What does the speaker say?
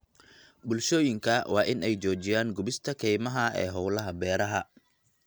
Bulshooyinka waa in ay joojiyaan gubista kaymaha ee hawlaha beeraha.